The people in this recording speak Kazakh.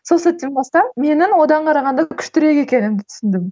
сол сәттен бастап менің одан қарағанда күштірек екенімді түсіндім